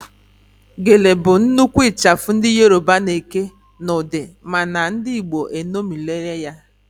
Gele bụ nnukwu ịchafụ ndị Yoroba na-eke n'ụdị mana ndị igbo eṅomirila ya